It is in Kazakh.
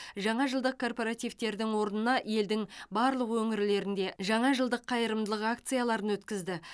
жаңа жылдық корпоративтердің орнына елдің барлық өңірлерінде жаңа жылдық қайырымдылық акцияларын өткізді